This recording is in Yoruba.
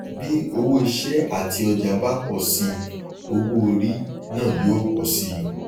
bí owó iṣẹ àti ọjà bá pọ sí i owó orí náà yóò pọ sí i